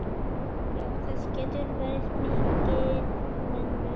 Já, það getur verið mikill munur.